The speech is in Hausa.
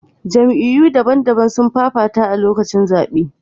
Jamiyy'u daban-daban sun fafata a lokacin zaɓe.